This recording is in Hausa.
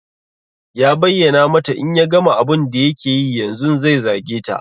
Ya bayyana mata in ya gama abun da yake yi yanzun zai zage ta.